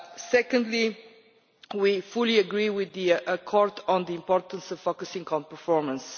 Secondly, we fully agree with the Court about the importance of focusing on performance.